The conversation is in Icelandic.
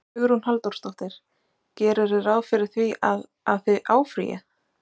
Hugrún Halldórsdóttir: Gerirðu ráð fyrir því að, að þið áfrýið?